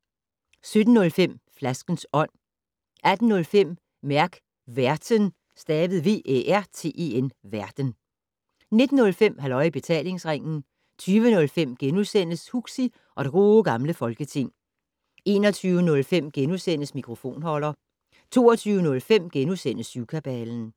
17:05: Flaskens Ånd 18:05: Mærk Værten 19:05: Halløj i Betalingsringen 20:05: Huxi og det Gode Gamle Folketing * 21:05: Mikrofonholder * 22:05: Syvkabalen *